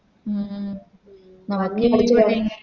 ഉം